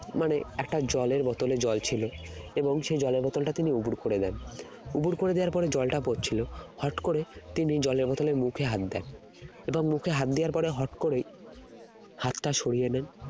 মানে একটা জলের বোতলে জল ছিল এবং সেই জলের বোতলটা তিনি উবুড় করে দেন উবুড় করে দেওয়ার পরে জলটা পড়ছিল হঠাৎ করে তিনি জলের বোতলের মুখে হাত দেন এবং মুখে হাত দেওয়ার পরে হঠাৎ করেই হাতটা সরিয়ে দেন